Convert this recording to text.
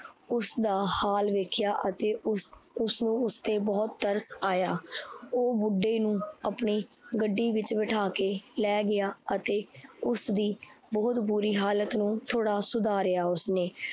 ਉਸਦਾ ਹਾਲ ਵੇਖਿਆ ਅਤੇ ਉਸ ਉਸਨੂੰ ਉਸ ਤੇ ਬਹੁਤ ਤਰਸ ਆਇਆ l ਓਹ ਬੁੱਢੇ ਨੂੰ ਆਪਣੀ ਗੱਡੀ ਵਿੱਚ ਬਿਠਾ ਕੇ ਲੈ ਗਿਆ। ਅਤੇ ਉਸਦੀ ਬਹੁਤ ਬੁਰੀ ਹਾਲਤ ਨੂੰ ਥੋੜਾ ਸੁਦਾਰੀਆ ਉਸਨੇ